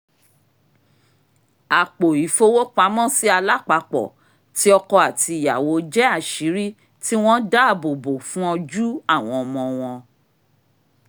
apo ìfowópamọ́sí alápapọ̀ ti ọkọ àti ìyàwó jẹ́ àṣírí tí wọ́n dáàbòbò fún ojú àwọn ọmọ wọn